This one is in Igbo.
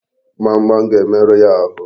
Gbamgbam ga-emerụ ya ahụ.